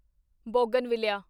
bougainvillea